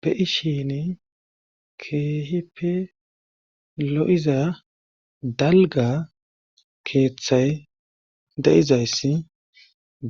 be7ishin keehipe lo7iza dalga keeththay de7izayssi